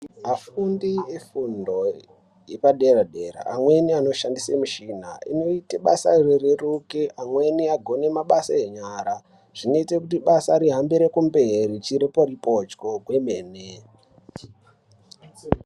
Afundi efundo yepa dera dera amweni ano shandise mishina inoite basa ri reruke amweni agone mabasa enyara zvinoite kuti basa ri hambire kumberi chiripori pochwo kwemene.